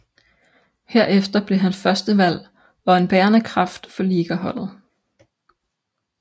Herefter blev han førstevalg og en bærende kraft for ligaholdet